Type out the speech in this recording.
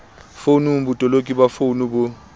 founung botoloki ba founu bo